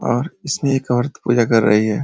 और इसमें एक औरत पूजा कर रही है।